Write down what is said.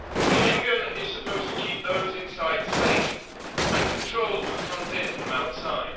Schengen is supposed to keep those inside safe and control who comes in from outside.